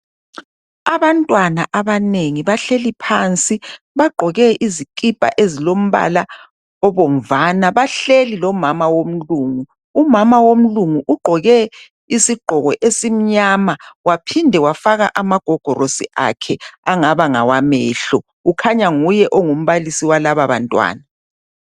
Abantwana abanengi bahleli phansi, bagqoke izikipa ezilombala obomvana bahleli lomama womlungu, umama womlungu ugqoke isigqoko esimnyama waphinde wafaka amagogorosi akhe angaba ngawamehlo kukhanya nguye ongumbalisi walababantwana.